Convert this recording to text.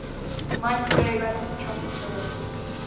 microwave anisotropy probe